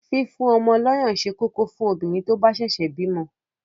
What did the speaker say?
Fífún ọmọ lọyàn ṣé kókó fún obìnrin tó bá ṣẹ̀ṣẹ̀ bímọ.